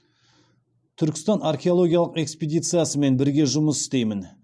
түркістан археологиялық экспедициясымен бірге жұмыс істеймін